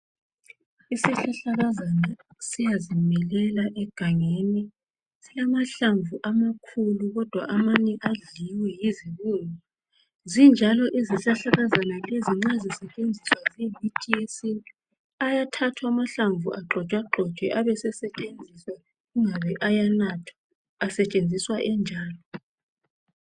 Isihlahlakazana siyazimilela egangeni , silamahlamvu amakhulu kodwa amanye adliwe yizibungu , zinjalo izihlahlakazana lezi nxa zisetshenziswa ziyimithi yesintu , ayathathwa amahlamvu agxotshwe agxotshwe abe sesetshenziswa ingabe ayanathwa , asetshenziswa enjalo